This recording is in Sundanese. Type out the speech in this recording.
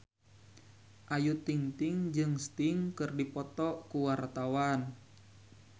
Ayu Ting-ting jeung Sting keur dipoto ku wartawan